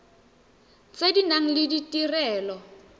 tse di nang le ditirelo